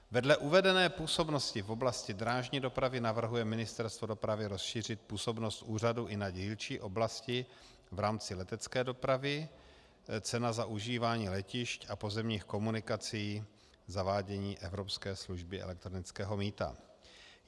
Vedle uvedené působnosti v oblasti drážní dopravy navrhuje Ministerstvo dopravy rozšířit působnost úřadu i na dílčí oblasti v rámci letecké dopravy - cena za užívání letišť a pozemních komunikací, zavádění evropské služby elektronického mýta.